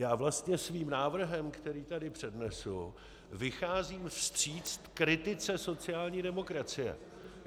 Já vlastně svým návrhem, který tady přednesu, vycházím vstříc kritice sociální demokracie.